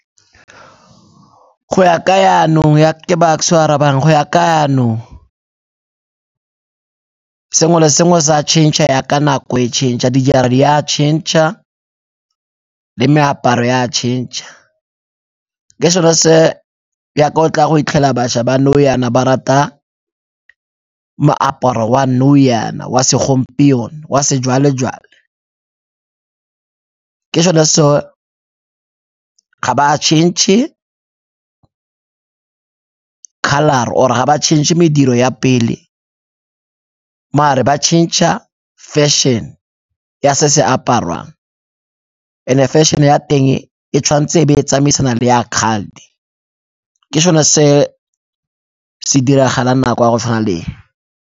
Go ya ka yanong ke Bucks-e o a arabang, go ya ka no. Sengwe le sengwe se a change-a yaka nako e change-a, dijara di-change-a le meaparo e a change-a ke sone se yaka o tla go hitlhela bašwa ba nou yana ba rata moaparo wa nou yana wa segompieno, wa sejwale-jwale. Ke sone se ga ba change-e colour-ra or-e ga ba change-e mediro ya pele, mare ba change-a fashion ya se se apariwang and-e fashion-e ya teng e tshwanetse e be e tsamaisana le ya kgale, ke sone se se diragalang nako ya go tshwana le e.